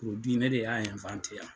ne de y'a yan.